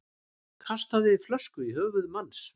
Kastaði flösku í höfuð manns